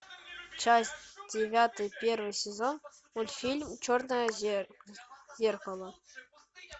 часть девятая первый сезон мультфильм черное зеркало